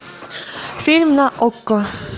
фильм на окко